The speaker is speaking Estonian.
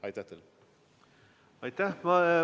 Aitäh!